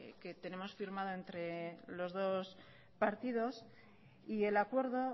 que tenemos firmado entre los dos partidos y el acuerdo